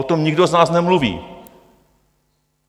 O tom nikdo z nás nemluví.